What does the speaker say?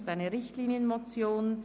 es ist eine Richtlinienmotion.